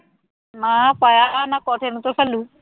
ਹਾਂ ਪਾਇਆ ਹੋਇਆ ਮੈਂ ਖੋਤੇ ਨੂੰ ਤਾਂ ਘੱਲੂ